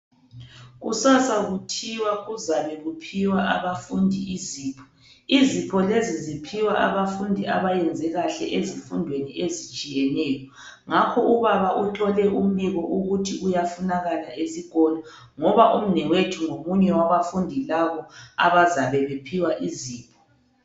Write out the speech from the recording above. Kusasa kuthiwa kuzabe kuphiwa abafundi izipho, izipho lezi ziphiwa abafundi abayenze kahle ezifundweni ezitshiyeneyo, ngakho ubaba uthole umbiko ukuthi uyafunakala esikolo ngoba umnewethu ngomunye wabafundi labo abazabe bephiwa izipho.